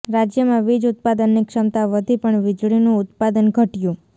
રાજ્યમાં વીજ ઉત્પાદનની ક્ષમતા વધી પણ વીજળીનું ઉત્પાદન ઘટ્યું